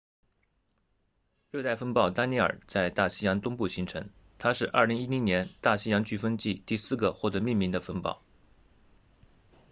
热带风暴丹妮尔在大西洋东部形成它是2010年大西洋飓风季第四个获得命名的风暴